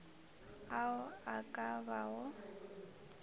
ao a ka ba go